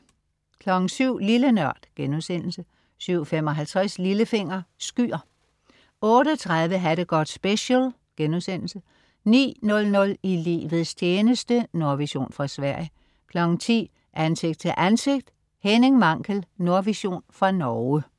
07.00 Lille Nørd* 07.55 Lillefinger. Skyer 08.30 Ha' det godt special* 09.00 I livets tjeneste. Nordvision fra Sverige 10.00 Ansigt til ansigt: Henning Mankell. Nordvision fra Norge